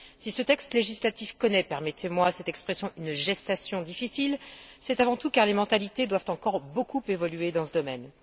Si ce texte législatif connaît permettez moi cette expression une gestation difficile, c'est avant tout parce que les mentalités doivent encore beaucoup évoluer dans ce domaine.